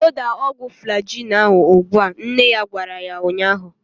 Loda ọgwụ Flajil ahu ụgbụa! Nne ya gwara ya ụnyaahụ